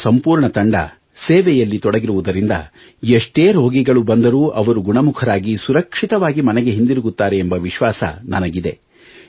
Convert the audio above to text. ನಿಮ್ಮ ಸಂಪೂರ್ಣ ತಂಡ ಸೇವೆಯಲ್ಲಿ ತೊಡಗಿರುವುದರಿಂದ ಎಲ್ಲಾ ರೋಗಿಗಳು ಗುಣಮುಖರಾಗಿ ಸುರಕ್ಷಿತವಾಗಿ ಮನೆಗೆ ಹಿಂದಿರುಗುತ್ತಾರೆ ಎಂಬ ವಿಶ್ವಾಸ ನನಗಿದೆ